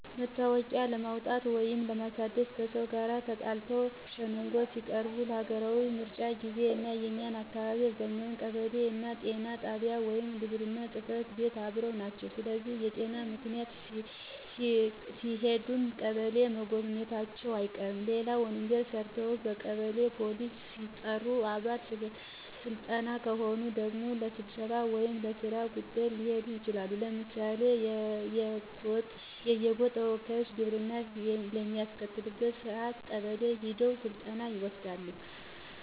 መታወቂያ ለማውጣት ወይንም ለማሳደስ፣ ከሰው ጋር ተጣልተው ሸንጎ ሲቀርቡ፣ ለሀገራዊ ምርጫ ጊዜ፣ እና እኛ አካባቢ አብዛኛው ቀበሌውና ጤና ጣቢያው ወይም ግብርና ጽፈት ቤት አብረው ናቸው ስለዚህ በጤና ምክንያት ሲሄዱም ቀበሌውን መጎብኘታቸው አይቀርም። ሌላው ወንጀል ሰርተው በቀበሌ ፖሊስ ሲጠሩ፣ ባለ ስልጣን ከሆኑ ደግሞ ለስብሰባ ወይም ለስራ ጉዳይ ሊሄዱ ይችላሉ። ለምሳሌ የየጎጥ ተወካዮች ግብር በሚያስከፍሉበት ሰአት ቀበሌ ሄደው ስልጠና ይወስዳሉ።